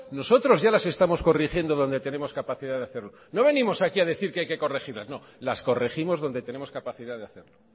nosotros ya las estamos corrigiendo donde tenemos capacidad de hacerlo no venimos aquí ha decir que hay que corregirlas no las corregimos donde tenemos capacidad de hacerlo